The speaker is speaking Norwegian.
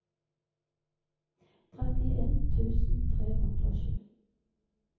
trettien tusen tre hundre og sju